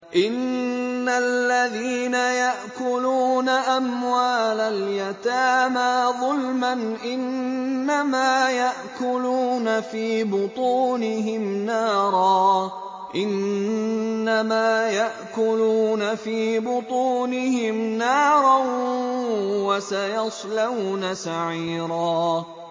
إِنَّ الَّذِينَ يَأْكُلُونَ أَمْوَالَ الْيَتَامَىٰ ظُلْمًا إِنَّمَا يَأْكُلُونَ فِي بُطُونِهِمْ نَارًا ۖ وَسَيَصْلَوْنَ سَعِيرًا